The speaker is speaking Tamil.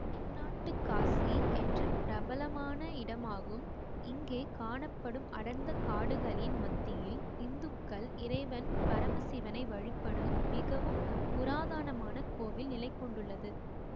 தென்னாட்டு காசி என்று பிரபலமான இடமாகும் இங்கே காணப்படும் அடர்ந்த காடுகளின் மத்தியில் இந்துக்கள் இறைவன் பரமசிவனை வழிபடும் மிகவும் புராதனமான கோவில் நிலைகொண்டுள்ளது